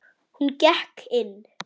Hún gekk inn.